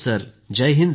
Jai Hind sir